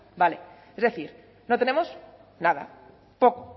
bueno vale es decir no tenemos nada poco